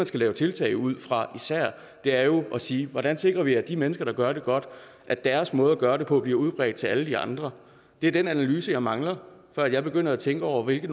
skal lave tiltag ud fra er jo at sige hvordan sikrer vi i forhold til de mennesker der gør det godt at deres måde at gøre det på bliver udbredt til alle de andre det er den analyse jeg mangler før jeg begynder at tænke over hvilke